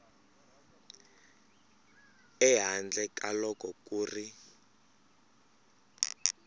ehandle ka loko ku ri